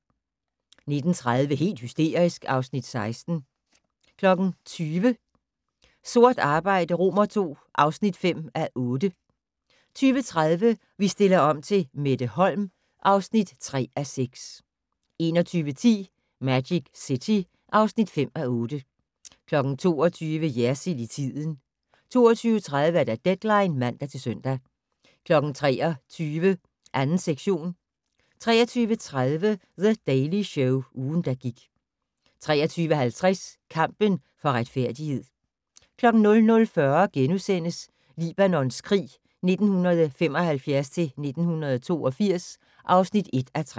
19:30: Helt hysterisk (Afs. 16) 20:00: Sort arbejde II (5:8) 20:30: Vi stiller om til Mette Holm (3:6) 21:10: Magic City (5:8) 22:00: Jersild i tiden 22:30: Deadline (man-søn) 23:00: 2. sektion 23:30: The Daily Show - ugen, der gik 23:50: Kampen for retfærdighed 00:40: Libanons krig 1975-1982 (1:3)*